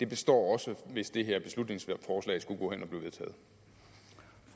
består også hvis det her beslutningsforslag skulle gå hen